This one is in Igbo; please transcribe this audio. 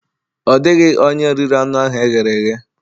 Ọ dịghị onye riri anụ ahụ e ghere eghe.